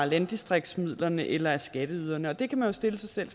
landdistriktsmidlerne eller af skatteyderne der kan man stille sig selv